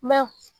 Mɛ